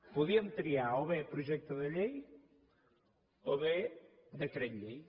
podien triar o bé projecte de llei o bé decret llei